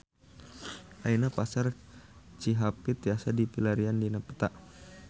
Ayeuna Pasar Cihapit tiasa dipilarian dina peta